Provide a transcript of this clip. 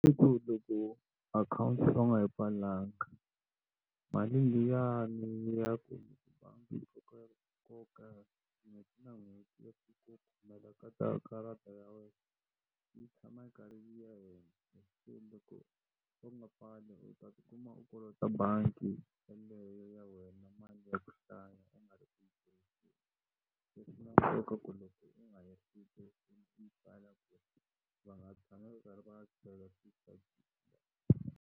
akhawunti o ka u nga yi pfalanga mali liyani ya ku bangi bangi .